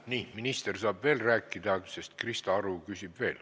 Nii, minister saab veel rääkida, sest Krista Aru küsib veel.